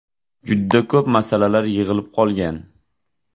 Juda ko‘p masalalar yig‘ilib qolgan.